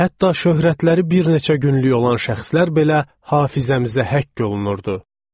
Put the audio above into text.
Hətta şöhrətləri bir neçə günlük olan şəxslər belə hafizəmizə həkk olunurdu.